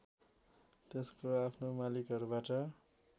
त्यसले आफ्ना मालिकहरूबाट